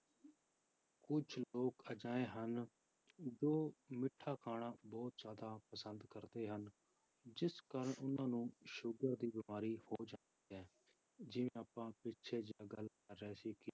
ਕੁਛ ਲੋਕ ਅਜਿਹੇ ਹਨ, ਜੋ ਮਿੱਠਾ ਖਾਣਾ ਬਹੁਤ ਜ਼ਿਆਦਾ ਪਸੰਦ ਕਰਦੇ ਹਨ, ਜਿਸ ਕਾਰਨ ਉਹਨਾਂ ਨੂੰ ਸ਼ੂਗਰ ਦੀ ਬਿਮਾਰੀ ਹੋ ਜਾਂਦੀ ਹੈ ਜਿਵੇਂ ਆਪਾਂ ਪਿੱਛੇ ਜਿਹੇ ਗੱਲ ਕਰ ਰਹੇ ਸੀ